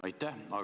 Aitäh!